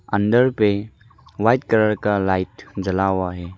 अंदर पे white colour का लाइट जला हुआ है।